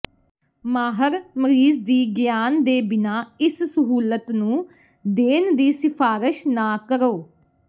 ਮਾਹਰ ਮਰੀਜ਼ ਦੀ ਗਿਆਨ ਦੇ ਬਿਨਾ ਇਸ ਸਹੂਲਤ ਨੂੰ ਦੇਣ ਦੀ ਸਿਫਾਰਸ਼ ਨਾ ਕਰੋ